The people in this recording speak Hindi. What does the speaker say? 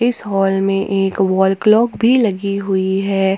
इस हाल में एक वॉल क्लॉक भी लगी हुई है।